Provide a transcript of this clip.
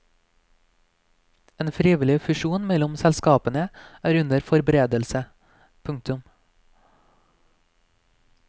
En frivillig fusjon mellom selskapene er under forberedelse. punktum